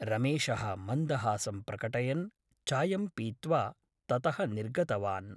रमेशः मन्दहासं प्रकटयन् चायं पीत्वा ततः निर्गतवान् ।